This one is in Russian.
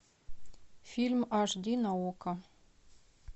фильм аш ди на окко